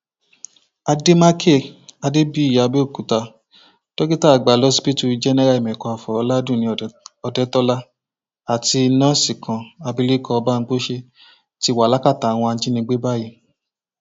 àdèmàkè adébíyìàbẹòkúta dókítà àgbà lọsibítù jẹnẹra ìmẹkọafọn ọládúnni òdetọlá àti nọọsì kan abilékọ bámgbose ti wà lákàtà àwọn ajinígbé báyìí